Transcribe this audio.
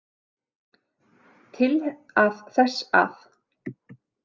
Til að þess að.